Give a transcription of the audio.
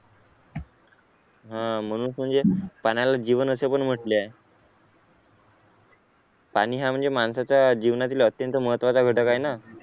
हा म्हणूनच म्हणजे पाण्याला जीवन असे पण म्हटले आहे पाणी हा म्हणजे माणसाच्या जीवनातील अत्यंत महत्त्वाचा घटक आहे ना